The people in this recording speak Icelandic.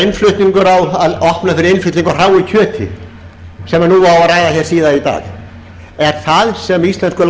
innflutning á hráu kjöti sem nú á að ræða hér síðar í dag er það það sem íslenskur